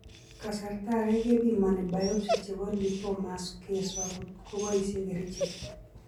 Kasarta age kepimoni biopsy chepo lipomas kswa kot ko poisie kerichek.